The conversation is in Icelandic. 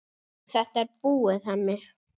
Þetta er búið, Hemmi.